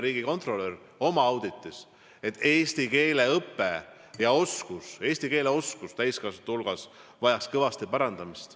Riigikontrolör märkis oma auditis, et eesti keele õpe ja eesti keele oskus, sh eesti keele oskus täiskasvanute hulgas vajaks kõvasti parandamist.